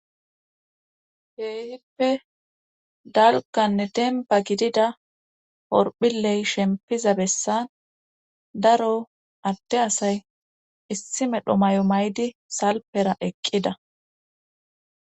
Kehippe dalganne demba gidida horphiley shempiza bessan daro adde asay issi medho mayo maydi salpera eqqida